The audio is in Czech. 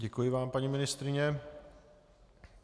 Děkuji vám, paní ministryně.